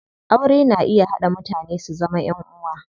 Aure na iya haɗa mutane su zama ƴan uwa.